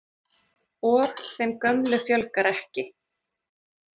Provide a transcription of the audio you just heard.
Og þeim gömlu fjölgar ekki.